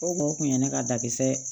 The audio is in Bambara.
O kun ye ne ka dakɛ